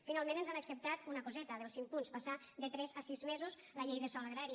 finalment ens han acceptat una coseta dels cinc punts passar de tres a sis mesos la llei de sòl agrari